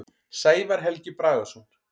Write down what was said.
Sævar Helgi Bragason.